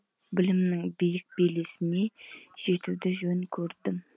білімнің биік белесіне жетуді жөн көрдім